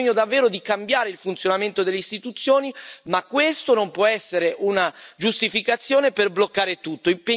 C'è bisogno davvero di cambiare il funzionamento delle istituzioni, ma questo non può essere una giustificazione per bloccare tutto.